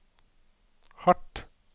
hardt